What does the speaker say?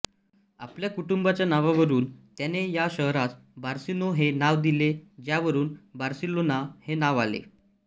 आपल्या कुटुंबाच्या नावावरून त्याने या शहरास बार्सिनो हे नाव दिले ज्यावरून बार्सेलोना हे नाव आले